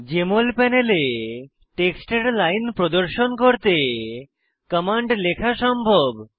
JML প্যানেলে টেক্সটের line প্রদর্শন করতে কমান্ড লেখা সম্ভব